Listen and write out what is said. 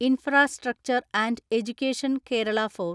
infrastructure and education Kerala four